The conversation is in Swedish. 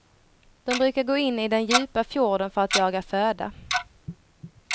De brukar gå in i den djupa fjorden för att jaga föda.